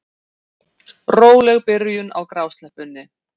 Róleg byrjun á grásleppunni